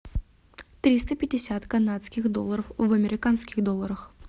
триста пятьдесят канадских долларов в американских долларах